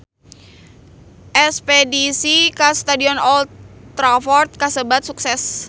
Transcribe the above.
Espedisi ka Stadion Old Trafford kasebat sukses